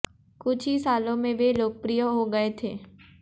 कुछ ही सालों में वे लोकप्रिय हो गए थे